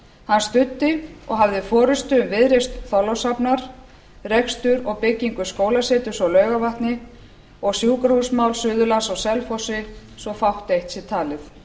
hann studdi og hafði forustu um viðreisn þorlákshafnar rekstur og byggingu skólaseturs á laugarvatni og sjúkrahúsmál suðurlands á selfossi svo að fátt sé talið